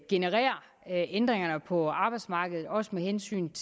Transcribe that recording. genererer ændringerne på arbejdsmarkedet også med hensyn